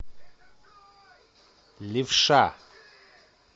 левша